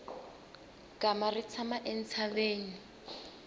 gama ri tshama entshaveni